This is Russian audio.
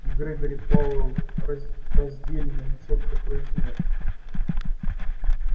грегори пауэлл раздельно и чётко произнёс